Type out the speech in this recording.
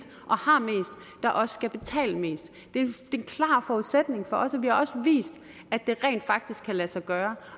der også skal betale mest det er en klar forudsætning for os og vi har også vist at det rent faktisk kan lade sig gøre